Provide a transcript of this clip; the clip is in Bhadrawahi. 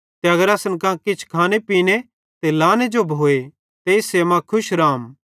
ते अगर असन कां किछ खाने पीने ते लाने जो भोए ते इस्से मां खुश रहम